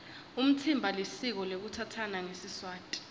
umtsimba lisiko lekutsatsana ngesiswati